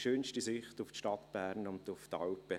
schönste Sicht auf die Stadt Bern und auf die Alpen.